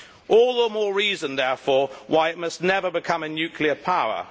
All the more reason, therefore, why it must never become a nuclear power.